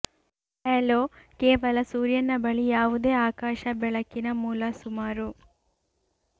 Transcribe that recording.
halo ಕೇವಲ ಸೂರ್ಯನ ಬಳಿ ಯಾವುದೇ ಆಕಾಶ ಬೆಳಕಿನ ಮೂಲ ಸುಮಾರು